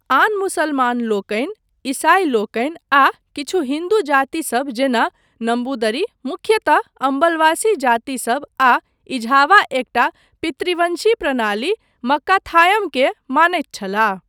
आन मुसलमानलोकनि, ईसाईलोकनि आ किछु हिन्दू जातिसब जेना नम्बूदरी, मुख्यतः अम्बलवासी जातिसब आ एझावा एकटा पितृवंशी प्रणाली, मक्काथायमकेँ मानैत छलाह।